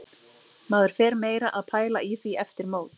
Maður fer meira að pæla í því eftir mót.